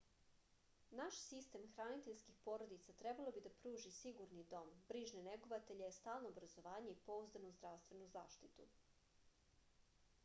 naš sistem hraniteljskih porodica trebalo bi da pruži sigurni dom brižne negovatelje stalno obrazovanje i pouzdanu zdravstvenu zaštitu